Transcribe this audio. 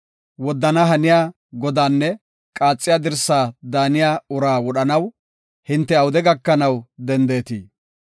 Woddana haniya godaanne qaaxiya dirsi daaniya uraa wodhanaw, hinte awude gakanaw dendetii?